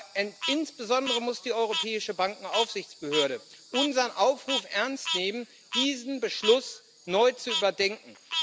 Aber insbesondere muss die Europäische Bankenaufsichtsbehörde unseren Aufruf ernst nehmen, diesen Beschluss neu zu überdenken.